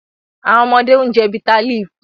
Awọn ọmọde n jẹ bitterleaf